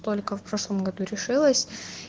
только в прошлом году решилась